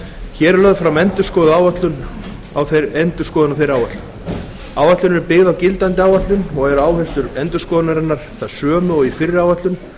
hér er lögð fram endurskoðun á þeirri áætlun áætlunin er byggð á gildandi áætlun og eru áherslur endurskoðunarinnar þær sömu og í fyrri áætlun